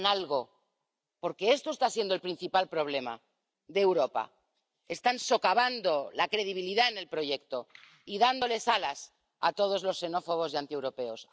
Hagan algo, porque este está siendo el principal problema de Europa están socavando la credibilidad del proyecto y dándoles alas a todos los xenófobos y antieuropeos.